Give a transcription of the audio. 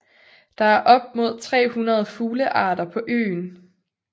Der er op mod 300 fuglearter på øen